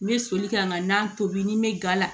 N bɛ soli ka n ka na tobi ni mɛ ga la